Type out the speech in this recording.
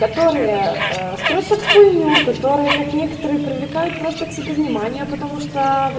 которые строят хуйню которые как некоторые привлекают просто к себе внимание потому что